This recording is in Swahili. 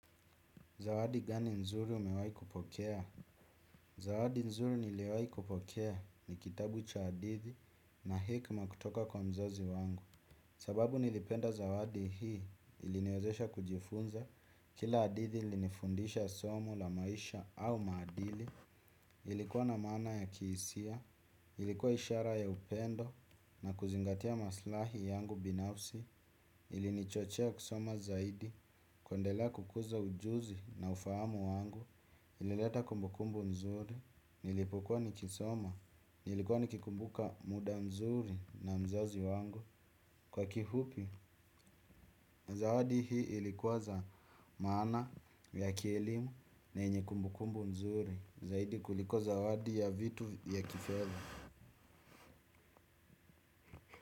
Zawadi gani nzuri umewai kupokea? Zawadi nzuri niliwai kupokea ni kitabu cha hadithi na hekima kutoka kwa mzazi wangu. Sababu nilipenda zawadi hii iliniwezesha kujifunza kila hadithi ilinifundisha somo la maisha au maadili. Ilikuwa na maana ya kihisia, ilikuwa ishara ya upendo na kuzingatia maslahi yangu binafsi. Ilini chochea kusoma zaidi. Kuendelea kukuza ujuzi na ufahamu wangu. Ilileta kumbukumbu mzuri. Nilipokuwa nikisoma nilikuwa nikikumbuka muda mzuri na mzazi wangu. Kwa kifupi zawadi hii ilikuwa za maana ya kielimu na yenye kumbukumbu mzuri zaidi kuliko zawadi ya vitu ya kifedha.